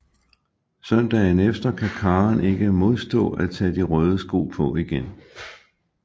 Søndagen efter kan Karen ikke modstå at tage de røde sko på igen